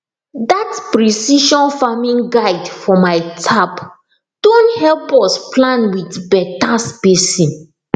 that precision farming guide for my tab don help us plant with better spacing